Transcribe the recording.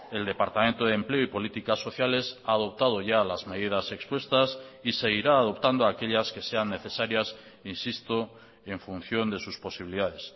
el departamento de empleo y políticas sociales ha adoptado ya las medidas expuestas y seguirá adoptando aquellas que sean necesarias insisto en función de sus posibilidades